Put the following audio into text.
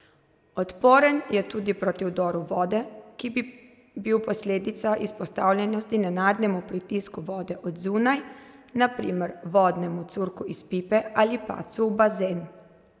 Odporen je tudi proti vdoru vode, ki bi bil posledica izpostavljenosti nenadnemu pritisku vode od zunaj, na primer vodnemu curku iz pipe ali padcu v bazen.